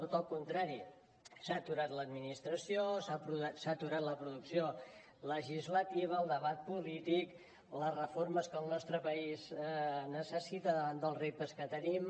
tot el contrari s’ha aturat l’administració s’ha aturat la producció legislativa el debat polític les reformes que el nostre país necessita davant dels reptes que tenim